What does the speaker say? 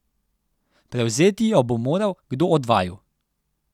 Prevzeti jo bo moral kdo od vaju.